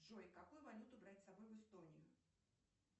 джой какую валюту брать с собой в эстонию